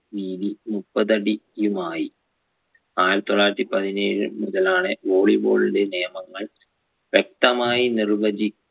വീതി മുപ്പതടി യുമായി ആയിരത്തി തൊള്ളായിരത്തി പതിനേഴ് മുതലാണ് volley ball ന്റെ നിയമങ്ങൾ വ്യക്തമായി നിർവചി